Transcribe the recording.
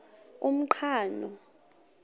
umqhano